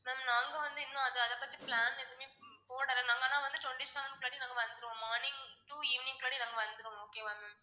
ma'am நாங்க வந்து இன்னும் அது அதை பத்தி plan எதுவுமே போடல. நாங்க ஆனா வந்து twenty seven படி நாங்க வந்துருவோம் ma'am morning to evening படி நாங்க வந்துருவோம் okay வா ma'am